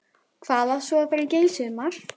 Hvað á svo að fara að gera í sumar?